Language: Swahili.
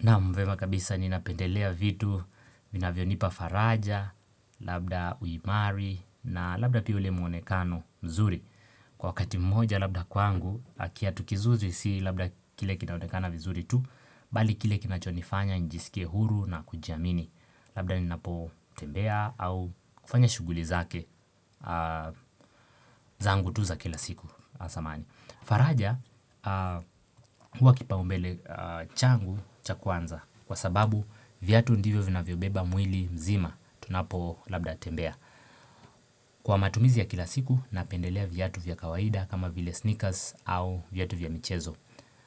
Naam, vyema kabisa ninapendelea vitu, vinavyo nipa faraja, labda uimari na labda pia ule mwonekano mzuri. Kwa wakati mmoja labda kwangu, kiatu kizuri si labda kile kinaonekana vizuri tu, bali kile kinacho nifanya njisike huru na kujiamini. Labda ninapotembea au kufanya shuguli zake zangu tu za kila siku asamahani. Faraja huwa kipa umbele changu cha kwanza kwa sababu vyatu ndivyo vinavyobeba mwili mzima tunapo labda tembea Kwa matumizi ya kila siku napendelea vyatu vya kawaida kama vile sneakers au vyatu vya michezo